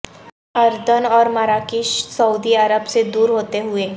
اردن اور مراکش سعودی عرب سے دور ہوتے ہوئے